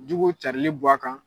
Juguw carilen bɔ a kan.